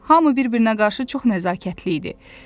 Hamı bir-birinə qarşı çox nəzakətli idi.